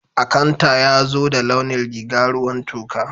Akanta yazo da launin rìga ruwan toka.